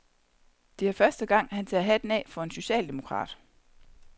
Det er første gang, han tager hatten af for en socialdemokrat.